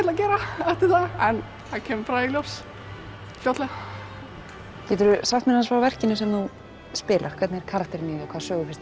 að gera eftir það en það kemur bara í ljós fljótlega geturðu sagt mér aðeins frá verkinu sem þú spilar hvernig er karakterinn í því og hvaða sögu finnst